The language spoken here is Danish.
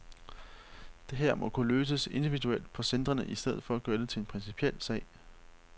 Det her må kunne løses individuelt på centrene i stedet for at gøre det til en principiel sag.